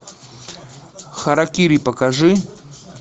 харакири покажи